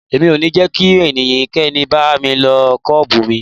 Mi ò ní jẹ́ kí ẹnikẹ́ni bá mi lo Kóm̀bù mi.